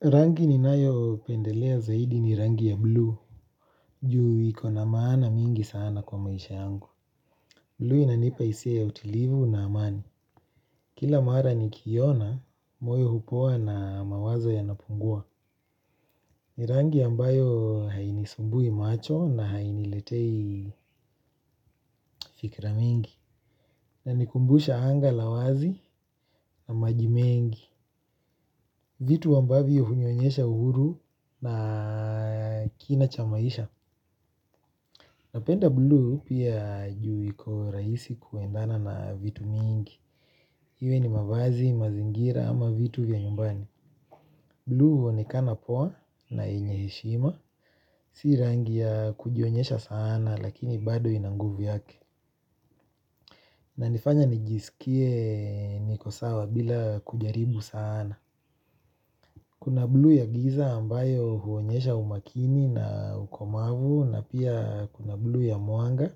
Rangi ninayopendelea zaidi ni rangi ya bluu. Ju ikona maana mingi sana kwa maisha yangu. Bluu inanipa hisia ya utilivu na amani. Kila mara nikiiona, moyo hupoa na mawazo yanapungua. Ni rangi ambayo hainisumbui macho na hainiletei fikra mingi na inikumbusha anga la wazi na majimengi. Vitu ambavyo hunionyesha uhuru na kina cha maisha. Napenda bluu pia ju iko rahisi kuendana na vitu mingi, iwe ni mavazi, mazingira ama vitu vya nyumbani. Blu huonekana poa na yenye heshima, si rangi ya kujionyesha saana lakini bado ina nguvu yake. Inifanya nijisikie niko sawa bila kujaribu saana. Kuna bluu ya giza ambayo huonyesha umakini na ukomavu na pia kuna bluu ya mwanga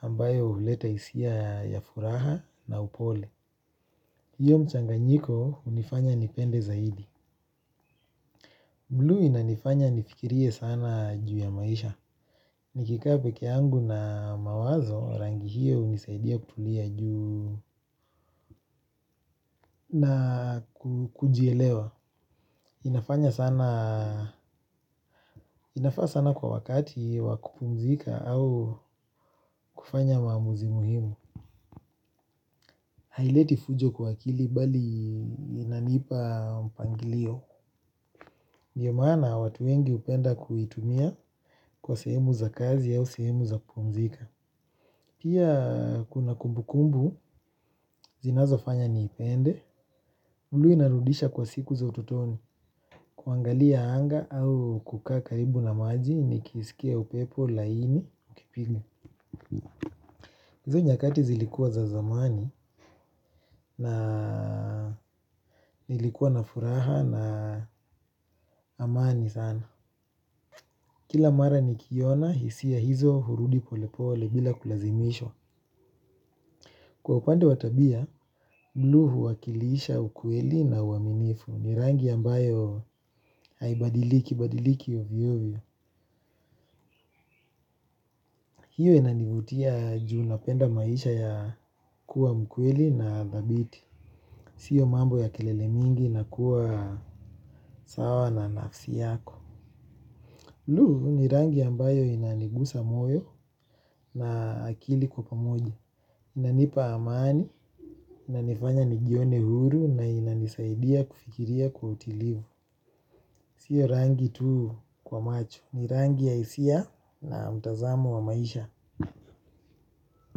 ambayo huleta hisia ya furaha na upole. Iyo mchanganyiko hunifanya nipende zaidi. Bluu inanifanya nifikirie sana juu ya maisha. Nikikaa peke yangu na mawazo, rangi hiyo unisaidia kutulia juu na kujielewa. Inafanya sana kwa wakati wakupumzika au kufanya maamuzi muhimu. Haileti fujo kwa kili bali inanipa mpangilio. Ndiyo maana watu wengi hupenda kuitumia kwa sehemu za kazi au sehemu za kupumzika. Pia kuna kumbu kumbu, zinazofanya niipende. Bluu inarudisha kwa siku za ututoni. Kuangalia anga au kukaa karibu na maji nikisikia upepo laini ukipiga. Hizo nyakati zilikuwa za zamani na nilikuwa na furaha na amani sana. Kila mara nikiiona hisia hizo hurudi polepole bila kulazimishwa. Kwa upande wa tabia, bluu huwakilisha ukweli na uaminifu, ni rangi ambayo haibadiliki, badiliki ovyo ovyo. Hiyo inanivutia juu napenda maisha ya kuwa mkweli na dhabiti. Sio mambo ya kelele mingi na kuwa sawa na nafsi yako. Bluu ni rangi ambayo inanigusa moyo na akili kwa pamoja. Inanipa amani na nifanya nijione huru na inanisaidia kufikiria kwa utulivu. Sio rangi tu kwa macho, ni rangi ya hisia na mtazamo wa maisha.